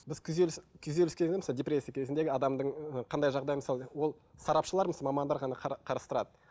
біз күйзеліс күйзеліс депрессия кезіндегі адамның қандай жағдайы мысалы ол сарапшылар мамандар ғана қарастырады